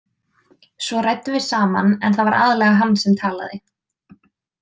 Svo ræddum við saman en það var aðallega hann sem talaði.